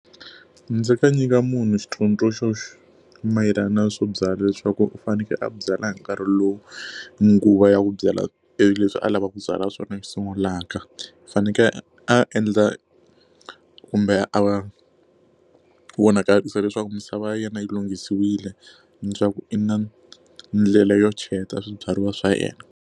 Ndzi ta nyika munhu xitsundzuxo xo mayelana swo byala leswaku u fanekele a byala hi nkarhi lowu nguva ya ku byala leswi a lavaka ku byala swona sungulaka. U fanekele a endla kumbe a vonakarisa leswaku misava ya yena yi lunghisiwile, leswaku i na ndlela yo cheleta swibyariwa swa yena.